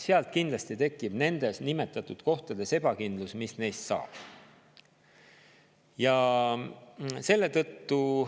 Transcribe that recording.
Siis kindlasti tekib nendes nimetatud kohtades ebakindlus, mis neist saab.